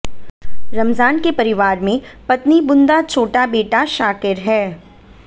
रमजान के परिवार में पत्नी बुन्दा छोटा बेटा शाकिर है